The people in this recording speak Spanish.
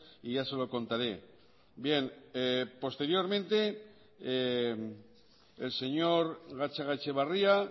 y ya se lo contaré bien posteriormente el señor gatzagaetxebarria